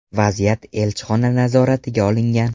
Vaziyat elchixona nazoratiga olingan.